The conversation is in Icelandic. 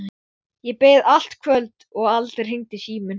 Sigurgeir, hvað er í matinn?